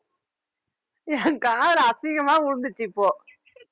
என் காதுல அசிங்கமா விழுந்துச்சு இப்போ